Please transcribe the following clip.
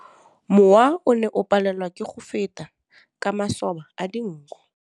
Mowa o ne o palelwa ke go feta ka masoba a dinko.